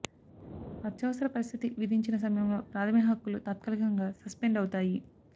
అత్యవసర పరిస్థితి విధించిన సమయంలో ప్రాథమిక హక్కులు తాత్కాలికంగా సస్పెండ్ అవుతాయి